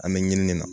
An bɛ ɲini de na